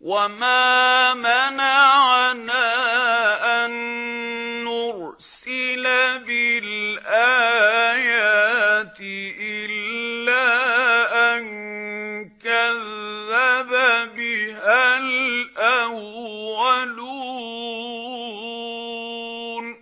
وَمَا مَنَعَنَا أَن نُّرْسِلَ بِالْآيَاتِ إِلَّا أَن كَذَّبَ بِهَا الْأَوَّلُونَ ۚ